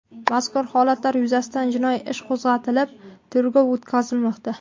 Mazkur holatlar yuzasidan jinoyat ishi qo‘zg‘atilib, tergov o‘tkazilmoqda.